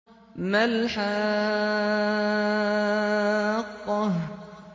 مَا الْحَاقَّةُ